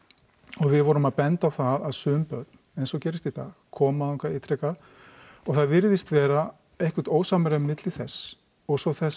og við vorum að benda á það að sum börn eins og gerist í dag koma þangað ítrekað og það virðist vera eitthvert ósamræmi milli þess og svo þess